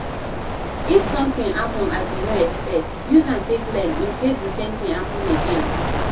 If something happen as you no expect, use am take learn in case di same thing happen again